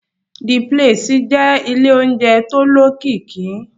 The place jẹ́ ilé oúnjẹ tó lókìkí